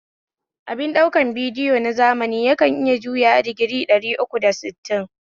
Abin ɗaukar bidiyo na zamani yakan iya juyawa digiri ɗari uku da sittin